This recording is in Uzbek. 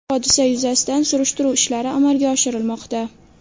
Hodisa yuzasidan surishtiruv ishlari amalga oshirilmoqda.